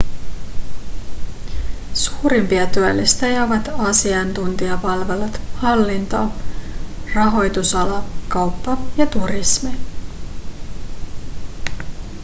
suurimpia työllistäjiä ovat asiantuntijapalvelut hallinto rahoitusala kauppa ja turismi